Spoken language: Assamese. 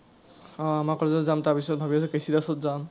আহ আমাৰ college ত যাম, তাৰ পিছত ভাবি আছোঁ কে চি দাসত যাম।